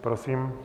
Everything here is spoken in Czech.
Prosím.